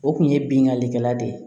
O kun ye binnkannikɛla de ye